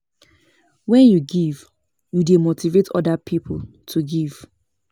Wen yu give, yu dey motivate oda pipo to give.